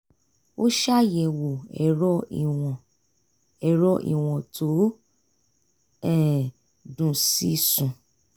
ó ṣàyẹwo ẹ̀rọ ìwọ̀n ẹ̀rọ ìwọ̀n tó um dùn sí sùn